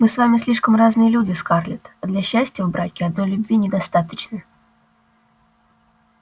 мы с вами слишком разные люди скарлетт а для счастья в браке одной любви недостаточно